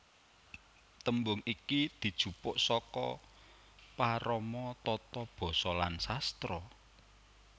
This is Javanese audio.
Tembung iki dijupuk saka parama tata basa lan sastra